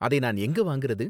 அதை நான் எங்க வாங்குறது?